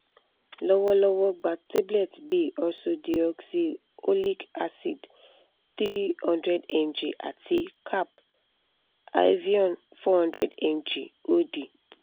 lowolowo gba tablet bi ursodeoxyxholic acid three hundred mg ati cap avion four hundred mg od